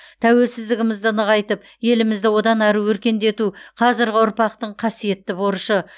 тәуелсіздігімізді нығайтып елімізді одан әрі өркендету қазіргі ұрпақтың қасиетті борышы